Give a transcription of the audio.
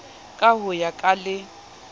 ka ho ya ka le